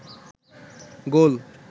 গোল